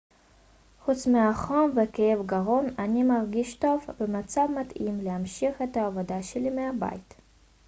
חוץ מהחום וכאב גרון אני מרגיש טוב ובמצב מתאים להמשיך את העבודה שלי מהבית